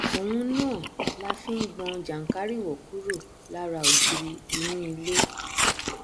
òun náà la fi ngbọn jànkáríwọ kúro lára ògiri inú ilé